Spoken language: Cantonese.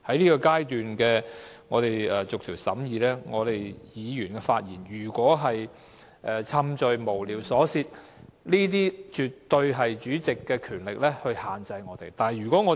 現在是我們逐一審議修正案的階段，議員的發言如果是冗贅、無聊、瑣屑，主席絕對有權力限制我們。